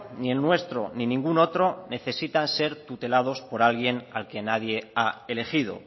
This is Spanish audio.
ni el nuestro ni ninguno otro necesitan ser tutelados por alguien al que nadie ha elegido